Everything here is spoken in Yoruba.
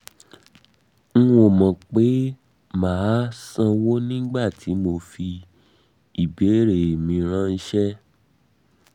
n ò mọ̀ pé màá sanwó nígbà tí mo fi ìbéèrè mi ráńṣẹ́ mi ráńṣẹ́